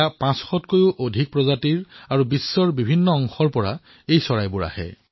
পাঁচশতকৈও অধিক সংখ্যাত ভিন্ন ভিন্ন প্ৰকাৰৰ ভিন্ন ভিন্ন স্থানৰ পৰা ইয়ালৈ চৰাইবোৰ আহে